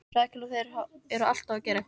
Rakel: Og þeir eru alltaf að gera eitthvað.